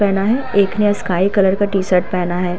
पहना है। एक ने स्काई कलर का टी-शर्ट पहना है।